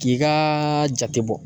K'i kaaaa jate bɔ.